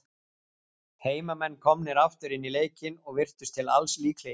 Heimamenn komnir aftur inn í leikinn, og virtust til alls líklegir.